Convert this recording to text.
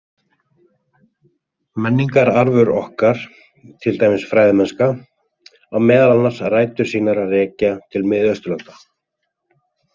Menningararfur okkar, til dæmis fræðimennska, á meðal annars rætur sínar að rekja til Mið-Austurlanda.